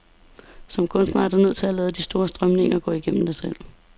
Som kunstner er du nødt til at lade de store strømninger gå igennem dig selv.